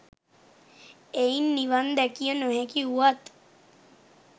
එයින් නිවන් දැකිය නොහැකි වුවත්